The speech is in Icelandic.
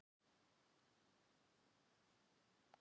Lóa: Þannig að það eru vinnubrögðin en ekki málefnin sem að?